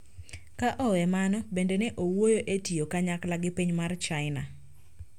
Ka owe mano, bende ne owuoyo e tiyo kanyakla gi piny mar China